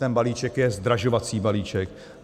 Ten balíček je zdražovací balíček.